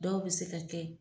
Dɔw bɛ se ka kɛ